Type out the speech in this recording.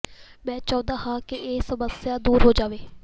ਮੈਂ ਚਾਹੁੰਦਾ ਹਾਂ ਕਿ ਇਹ ਸਮੱਸਿਆ ਦੂਰ ਹੋ ਜਾਵੇ